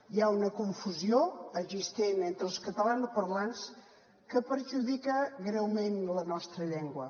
hi ha una confusió existent entre els catalanoparlants que perjudica greument la nostra llengua